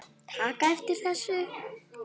taka eftir þessu